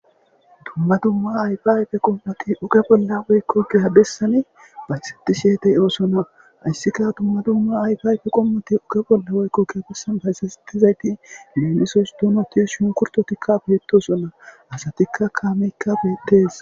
Dumma dumma ayfaa ayfe qommothi oge bolla woykko giya bessani wacheththishee de7oosona; haysika dumma dumma ayfaa ayfe qommothi giya bolli woykko bessan bayzeththida dumma dumma donothi shumkkurththithikka beeththoosona; asathikka kaameekka beeththees.